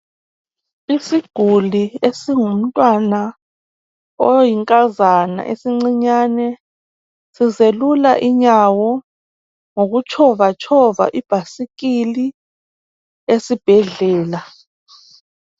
Isiguli esingumntwana oyinkazana esincinyane sizelula inyawo ngokutshova tshova ibhasikili esibhedlela.